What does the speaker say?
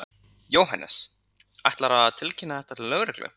Jóhannes: Ætlarðu að tilkynna þetta til lögreglu?